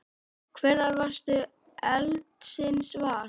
Hvenær varðstu eldsins var?